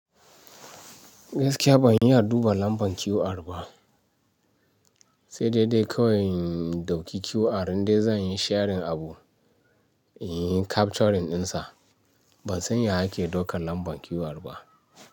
Gaskiya ban iya duba lambar QR ba, sai dai dai kawai in ɗauki QR in dai zan yi sharin abu, in yi capturing ɗinsa. Ban san ya ake daukar lambar QR ba.